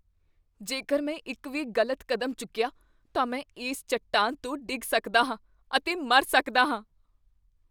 ਜੇਕਰ ਮੈਂ ਇੱਕ ਵੀ ਗ਼ਲਤ ਕਦਮ ਚੁੱਕੀਆ, ਤਾਂ ਮੈਂ ਇਸ ਚੱਟਾਨ ਤੋਂ ਡਿੱਗ ਸਕਦਾ ਹਾਂ ਅਤੇ ਮਰ ਸਕਦਾ ਹਾਂ।